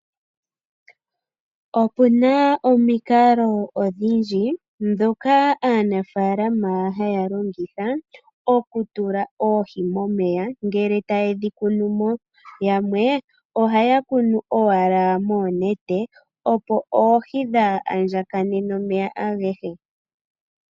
Okuna omikalo odhindji ndhoka aanafalama haya longitha oku tula oohi momeya ngele taye dhi kunu mo. Yamwe ohaya kunu owala moonete opo oohi dhaa andjakane nomeya agehe.